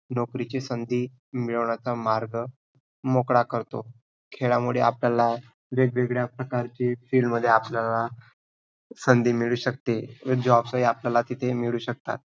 नोकरीची संधी मिळवण्याचा मार्ग मोकळा करतो. खेळामुळे आपल्याला वेग-वेगळ्या प्रकारचे field मध्ये आपल्याला संधी मिळू शकते. jobs ही आपल्याला तिथे ही मिळू शकतात.